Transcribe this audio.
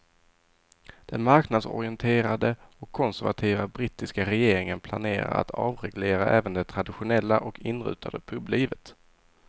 Den marknadsorienterade och konservativa brittiska regeringen planerar att avreglera även det traditionella och inrutade publivet.